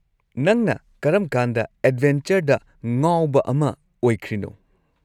ꯅꯪꯅ ꯀꯔꯝꯀꯥꯟꯗ ꯑꯦꯗꯚꯦꯟꯆꯔꯗ ꯉꯥꯎꯕ ꯑꯃ ꯑꯣꯏꯈ꯭ꯔꯤꯅꯣ?